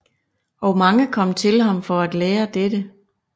Og mange kom til ham for at lære dette